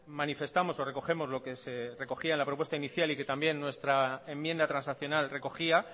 manifestamos o recogemos lo que se recogía en la propuesta inicial y que también nuestra enmienda transaccional recogía